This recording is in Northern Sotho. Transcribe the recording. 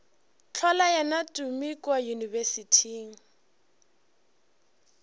hlola yena tumi kua yunibesithing